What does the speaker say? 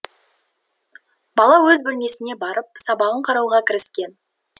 бала өз бөлмесіне барып сабағын қарауға кіріскен